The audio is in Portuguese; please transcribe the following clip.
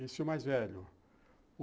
Esse é o mais velho.